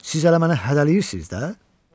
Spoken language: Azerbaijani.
Siz elə mənə hədələyirsiz də?